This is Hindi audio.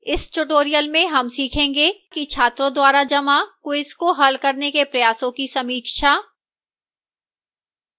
इस tutorial में हम सीखेंगे कि: छात्रों द्वारा जमा quiz को हल करने के प्रयासों की समीक्षा